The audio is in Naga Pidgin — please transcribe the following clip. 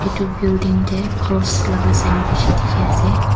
Etu building tey cross laka sign beshe dekhe ase.